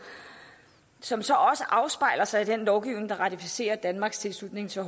som så også afspejler sig i den lovgivning der ratificerer danmarks tilslutning til